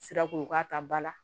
Sirako ka ta ba la